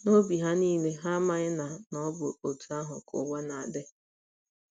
N’obi ha niile, ha amaghị na na ọ bụ otú ahụ ka ụwa na - adị.